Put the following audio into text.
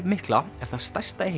mikla er það stærsta í